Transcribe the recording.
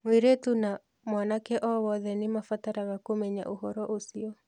Mweĩretu na mwanake o wothe nĩ mabataraga kũmenya ũhoro ũcio.